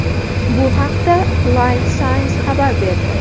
Bu haqda Live Science xabar berdi .